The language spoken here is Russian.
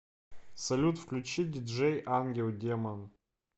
салют включи диджей ангелдемон